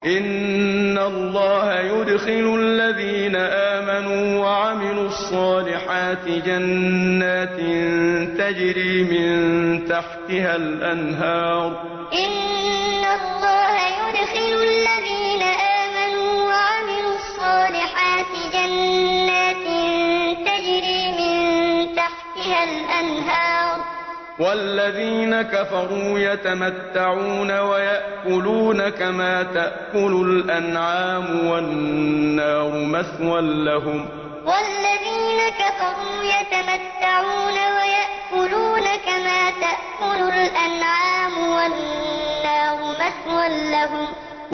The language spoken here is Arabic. إِنَّ اللَّهَ يُدْخِلُ الَّذِينَ آمَنُوا وَعَمِلُوا الصَّالِحَاتِ جَنَّاتٍ تَجْرِي مِن تَحْتِهَا الْأَنْهَارُ ۖ وَالَّذِينَ كَفَرُوا يَتَمَتَّعُونَ وَيَأْكُلُونَ كَمَا تَأْكُلُ الْأَنْعَامُ وَالنَّارُ مَثْوًى لَّهُمْ إِنَّ اللَّهَ يُدْخِلُ الَّذِينَ آمَنُوا وَعَمِلُوا الصَّالِحَاتِ جَنَّاتٍ تَجْرِي مِن تَحْتِهَا الْأَنْهَارُ ۖ وَالَّذِينَ كَفَرُوا يَتَمَتَّعُونَ وَيَأْكُلُونَ كَمَا تَأْكُلُ الْأَنْعَامُ وَالنَّارُ مَثْوًى لَّهُمْ